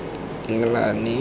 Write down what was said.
englane